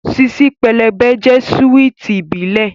Ṣíṣí pẹlẹbẹ jẹ́ súwìtì ìbílẹ̀